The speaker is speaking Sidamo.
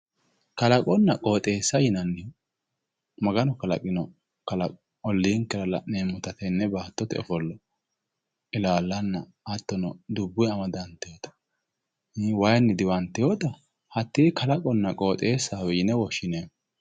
kalaqonna qooxeessa yinani maganu kalaqino qooxeessa olliinkera tenne baattote ofollo ilaallanna hattono dubbunni amadantinota ii wayiinni diwantinota hattee kalaqonna qooxeessawe yine woshshineemmo.